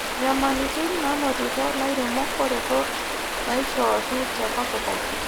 Nyamalitin naanotito lairemok o retort naaishooki te kopkop.